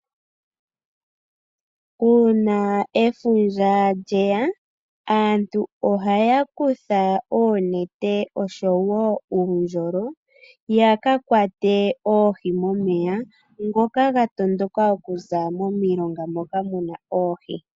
Uuna efundja lyeya aantu ohaya kutha oonete oshowo uundjulo, ya ka kwate oohi momeya ngoka ga tondoka okuza momilonga moka mu na oohi.